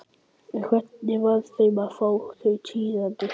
En hvernig varð þeim við að fá þau tíðindi?